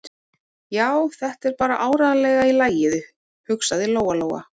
Já, þetta er bara áreiðanlega í lagi, hugsaði Lóa-Lóa.